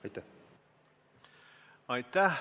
Aitäh!